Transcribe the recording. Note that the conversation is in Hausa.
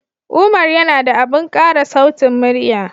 Umar yana da abin ƙara sautin murya